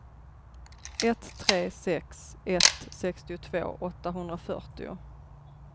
ett tre sex ett sextiotvå åttahundrafyrtio